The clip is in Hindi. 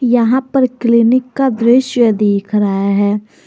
यहां पर क्लीनिक का दृश्य दिख रहा है।